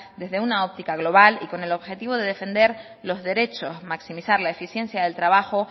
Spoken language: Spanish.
desde una óptica global y con el objetivo de defender los derechos maximizar la eficiencia del trabajo